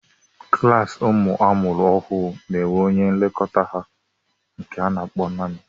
Klaasi ụmụ amụrụ ọhụụ n'enwe onye nlekọta ha nke a na akpọ naanị